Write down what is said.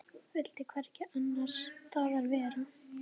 Vildi hvergi annars staðar vera.